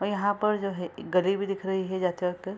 और यहां पर जो है एक गाड़ी भी दिख रही है जाते वक्त।